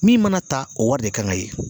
Min mana ta o wari de kan ka ye